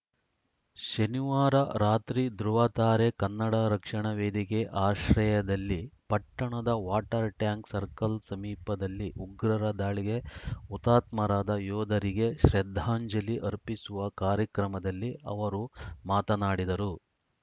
ಶನಿವಾರ ರಾತ್ರಿ ಧೃವತಾರೆ ಕನ್ನಡ ರಕ್ಷಣಾ ವೇದಿಕೆ ಆಶ್ರಯದಲ್ಲಿ ಪಟ್ಟಣದ ವಾಟರ್‌ ಟ್ಯಾಂಕ್‌ ಸರ್ಕಲ್‌ ಸಮೀಪದಲ್ಲಿ ಉಗ್ರರ ದಾಳಿಗೆ ಹುತಾತ್ಮರಾದ ಯೋಧರಿಗೆ ಶ್ರದ್ಧಾಂಜಲಿ ಅರ್ಪಿಸುವ ಕಾರ್ಯಕ್ರಮದಲ್ಲಿ ಅವರು ಮಾತನಾಡಿದರು